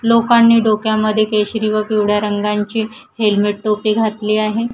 लोकांनी डोक्यामध्ये केशरी व पिवळ्या रंगांची हेल्मेट टोपी घातली आहे.